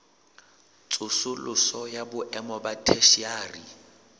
tsosoloso ya boemo ba theshiari